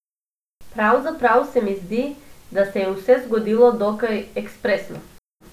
Pravzaprav se mi zdi, da se je vse zgodilo dokaj ekspresno.